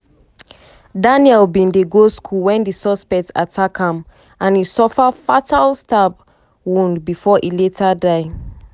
daniel bin dey go school wen di suspect attack am and e suffer fatal stab wound bifor e later die.